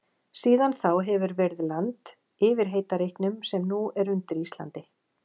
Síðan þá hefur verið land yfir heita reitnum sem nú er undir Íslandi.